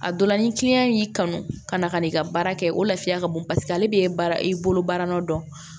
A dɔ la ni y'i kanu ka na ka n'i ka baara kɛ o lafiya ka bon paseke ale b'e baara i bolo baara nɔ dɔn